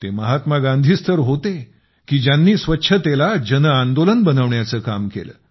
ते महात्मा गांधीच तर होते की ज्यांनी स्वच्छतेला जनआंदोलन बनवण्याचे काम केले